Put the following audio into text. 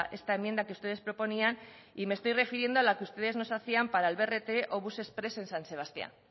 esta enmienda que ustedes proponían y me estoy refiriendo a la que ustedes nos hacían para el brt o bus exprés en san sebastián